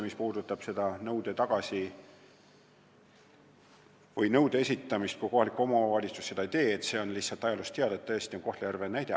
Mis puudutab nõude esitamist ja seda, kui kohalik omavalitsus seda ei tee, siis see on ajaloost teada, et näite saab tõesti tuua Kohtla-Järvelt.